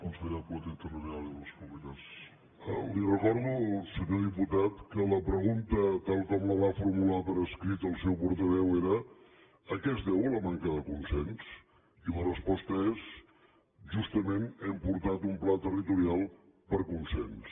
li recordo senyor diputat que la pregunta tal com la va formular per escrit el seu portaveu era a què es deu la manca de consens i la resposta és justament hem portat un pla territorial per consens